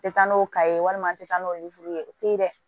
Tɛ taa n'o ka ye walima an tɛ taa n'olu ye o tɛ dɛ